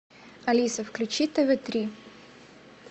алиса включи тв три